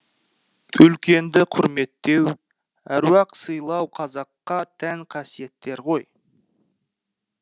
үлкенді құрметтеу әруақ сыйлау қазаққа тән қасиеттер ғой